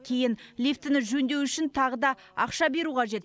кейін лифтіні жөндеу үшін тағы да ақша беру қажет